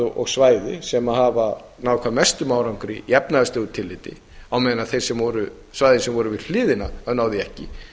og svæði sem hafa náð hve mestum árangri í efnahagslegu tilliti á meðan svæði sem voru við hliðina náðu því ekki